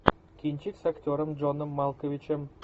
кинчик с актером джоном малковичем